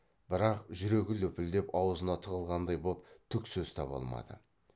бірақ жүрегі лүпілдеп аузына тығылғандай боп түк сөз таба алмады